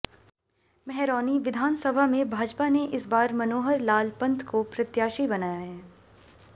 महरौनी विधानसभा में भाजपा ने इस बार मनोहर लाल पंथ को प्रत्याशी बनाया है